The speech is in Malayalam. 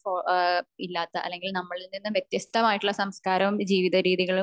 ഇപ്പൊ ഏഹ്ഹ് ഇല്ലാത്ത അല്ലെങ്കിൽ നമ്മളിൽ നിന്നും വെത്യസ്തമായിട്ടുള്ള സംസ്കാരവും ജീവിത രീതികാലും